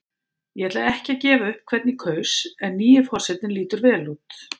Ég ætla ekki að gefa upp hvern ég kaus en nýi forsetinn lítur vel út.